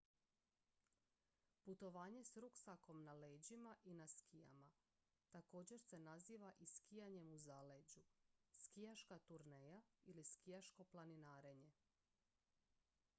putovanje s ruksakom na leđima i na skijama također se naziva i skijanjem u zaleđu skijaška turneja ili skijaško planinarenje